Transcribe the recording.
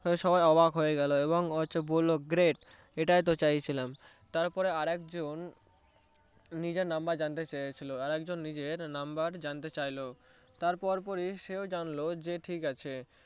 সবাই অবাক হয়ে গেলো এবং বললো great এটাই তো চাইছিলাম তারপরে আরেকজন নিজের number জানতে চেয়েছিলো আরেকজন নিজের number জানতে চাইলো তার পরপরই সে জানলো ঠিকাছে